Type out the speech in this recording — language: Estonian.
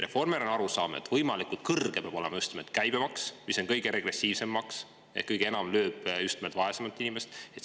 Reformierakonnal on arusaam, et võimalikult kõrge peab olema just nimelt käibemaks, mis on kõige regressiivsem maks ehk kõige enam lööb just nimelt vaesema inimese pihta.